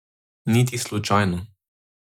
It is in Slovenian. Niti slučajno!